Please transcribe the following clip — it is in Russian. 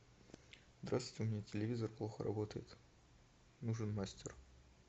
здравствуйте у меня телевизор плохо работает нужен мастер